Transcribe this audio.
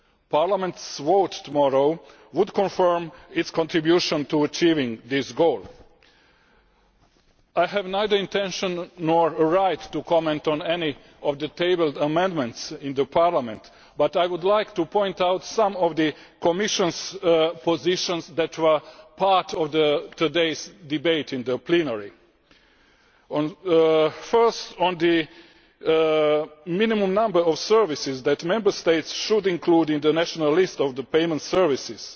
Parliament's vote tomorrow would confirm its contribution to achieving this goal. I have neither the intention nor the right to comment on any of the tabled amendments in Parliament, but I would like to point out some of the Commission's positions that were part of today's debate in plenary. First, on the minimum number of services that Member States should include in the national list of the payment services.